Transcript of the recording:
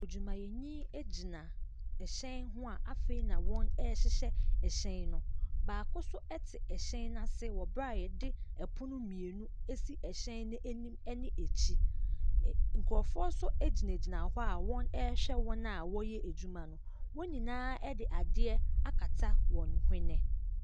Adwumayɛni egyina ɛhyɛn ho a afei wɔn ɛhyehyɛ ɛhyɛn no. Baako so ɛte ɛhyɛn n'ase wɔ bere a yɛde ɛpono mmienu esi ɛhyɛ no anim ɛne akyi. Nkurɔfoɔ so egyina gyina hɔ a wɔhwɛ wɔn a wɔyɛ adwuma no. Wɔn nyinaa ɛde adeɛ akata wɔn hwene.